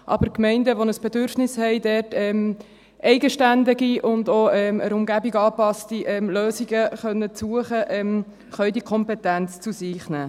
Aber Gemeinden, die ein Bedürfnis haben, hier eigenständige und der Umgebung angepasste Lösungen zu suchen, können diese Kompetenz zu sich nehmen.